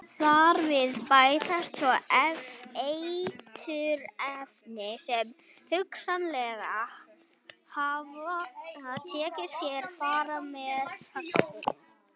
Þar við bætast svo eiturefni sem hugsanlega hafa tekið sér far með plastinu.